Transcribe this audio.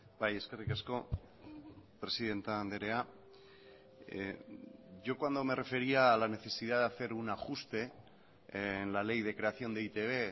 bai eskerrik asko presidente andrea yo cuando me refería a la necesidad de hacer un ajuste en la ley de creación de e i te be